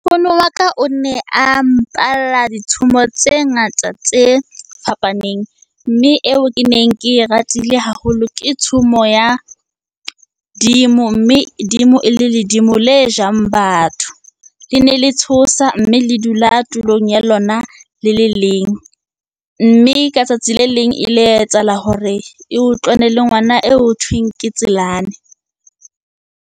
Nkgono wa ka o ne a mpalla ditshomo tse ngata tse fapaneng. Mme eo ke neng ke e ratile haholo ke tshomo ya dimo, mme dimo e le ledimo le jang batho. Lene le tshosa mme le dula tulong ya lona le le leng. Mme ka tsatsi le leng e ile ya etsahala hore e utlwane le ngwana eo hothweng ke Tselane.